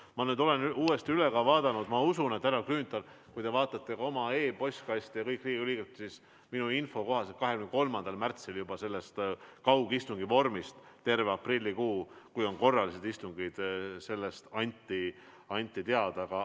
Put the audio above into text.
Ma vaatasin nüüd ka uuesti üle ja ma usun, härra Grünthal, et kui teie vaatate oma e-postkasti, siis näete sedasama: minu info kohaselt on 23. märtsil antud sellest kaugistungi vormist, mis kehtib terve aprillikuu, kui on korralised istungid, kõigile Riigikogu liikmetele teada antud.